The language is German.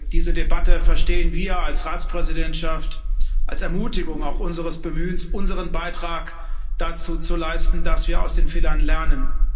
Diese Debatte verstehen wir als Ratspräsidentschaft auch als Ermutigung unseres Bemühens, unseren Beitrag dazu zu leisten, dass wir aus den Fehlern lernen.